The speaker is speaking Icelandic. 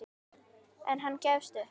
En hann gefst upp.